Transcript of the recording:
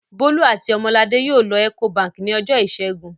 Bólú àti Ọmọladé yóò lọ Ecobank ní ọjọ́ ìṣẹ́gun.